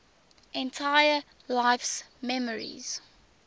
entire life's memories